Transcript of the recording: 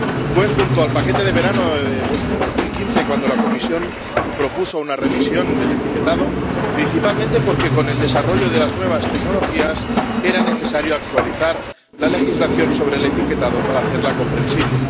Fue junto al paquete del verano de 2015 cuando la Comisión propuso una revisión del etiquetado, principalmente porque con el desarrollo de las nuevas tecnologías era necesario actualizar la legislación sobre el etiquetado para hacerla comprensible.